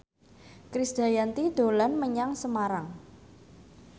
Krisdayanti dolan menyang Semarang